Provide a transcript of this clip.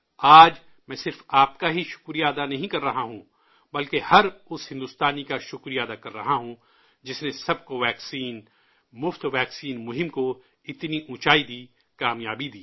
آج میں صرف آپ کا ہی شکریہ ادا نہیں کر رہا ہوں، بلکہ بھارت کے ہر اس شہری کا شکریہ ادا کر رہا ہوں، جس نے 'سب کو ویکسین مفت ویکسین' مہم کو اتنی اونچائی دی، کامیابی دی